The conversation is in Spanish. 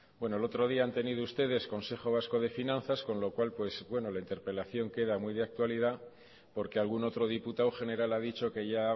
bueno el otro día han tenido ustedes consejo vasco de finanzas con lo cual pues bueno la interpelación queda muy de actualidad porque algún otro diputado general ha dicho que ya